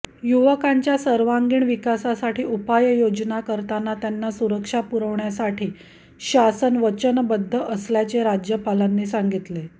युवकांच्या सर्वांगीण विकासासाठी उपाययोजना करताना त्यांना सुरक्षा पुरविण्यासाठी शासन वचनबद्ध असल्याचे राज्यपालांनी सांगितले